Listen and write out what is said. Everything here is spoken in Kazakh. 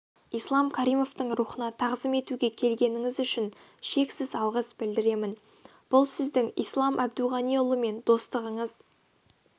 ислам каримовтің рухына тағзым етуге келгеніңіз үшін шексіз алғыс білдіремін бұл сіздің ислам әбдуғаниұлымен достығыңыз